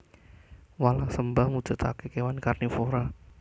Walang sembah mujudake kewan karnivora